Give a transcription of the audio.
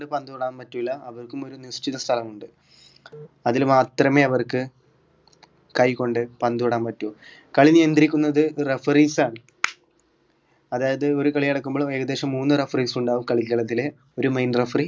പന്ത് തൊടാൻ പറ്റില്ല അവർക്കും ഒരു നിശ്ചിത സ്ഥലമുണ്ട് അതില് മാത്രമെ അവർക്ക് കൈ കൊണ്ട് പന്ത് തൊടാൻ പറ്റൂ കളി നിയന്ത്രിക്കുന്നത് referees ആണ് അതായത് ഒരു കളി നടക്കുമ്പോൾ ഏകദേശം മൂന്ന് referees ഉണ്ടാകും കളിക്കളത്തിൽ ഒരു main referee